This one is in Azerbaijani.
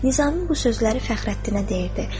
Nizami bu sözləri Fəxrəddinə deyirdi.